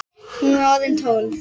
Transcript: Hún var orðin tólf!